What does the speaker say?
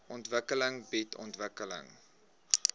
ontwikkeling bied ontwikkeling